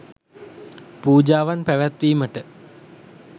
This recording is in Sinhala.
පූජාවන් පැවැත්වීමට